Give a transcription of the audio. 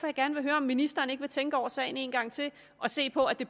jeg gerne høre om ministeren ikke vil tænke over sagen en gang til og se på at det